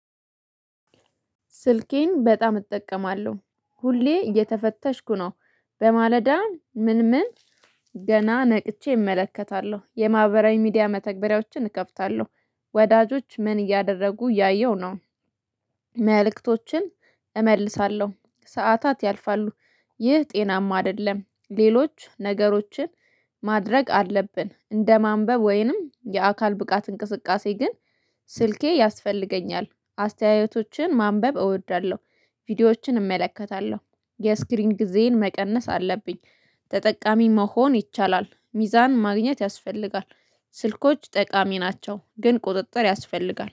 ስልኬን በጣም እጠቀማለሁ ሁሌ እየተፈተሽኩ ነው። በማለዳ ምን ምን ገና ነቅቼ እመለከታለሁ የማህበራዊ ሚዲያ መተግበሪያዎችን እከፍታለሁ። ወዳጆች ምን እያደረጉ እያየሁ ነው። መልእክቶችን እመልሳለሁ ሰዓታት ያልፋሉ። ይህ ጤናማ አይደለም። ሌሎች ነገሮችን ማድረግ አለብን እንደ ማንበብ ወይንም የአካል ብቃት እንቅስቃሴ ግን ስልኬ ያስፈልገኛል። አስተያየቶችን ማንበብ እወዳለሁ ቪዲዮዎችን እመለከታለሁ። የስክሪን ጊዜየን መቀነስ አለብኝ ተጠቃሚ መሆን ይቻላል ሚዛን ማግኘት ያስፈልጋል። ስልኮች ጠቃሚ ናቸው ግን ቁጥጥር ያስፈልጋል